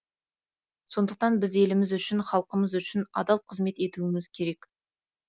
сондықтан біз еліміз үшін халқымыз үшін адал қызмет етуіміз керек